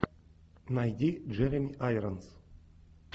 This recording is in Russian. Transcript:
найди джереми айронс